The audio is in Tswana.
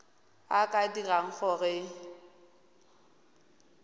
a a ka dirang gore